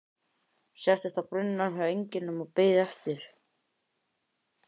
Settist á brunninn hjá englinum og beið eftir